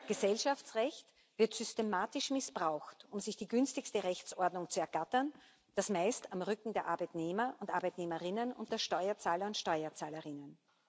Gesellschaftsrecht wird systematisch missbraucht, um sich die günstigste Rechtsordnung zu ergattern, und das meist auf dem Rücken der Arbeitnehmer und Arbeitnehmerinnen und der Steuerzahler und Steuerzahlerinnen.